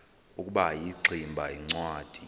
ukuba ingximba yincwadi